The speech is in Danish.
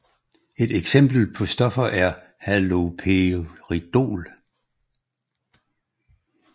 Et eksempel på stoffer er haloperidol